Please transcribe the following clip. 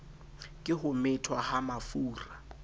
ke ho methwa ha mafura